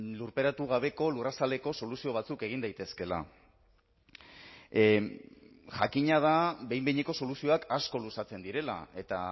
lurperatu gabeko lurrazaleko soluzio batzuk egin daitezkeela jakina da behin behineko soluzioak asko luzatzen direla eta